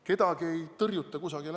Kedagi ei tõrjuta kusagile.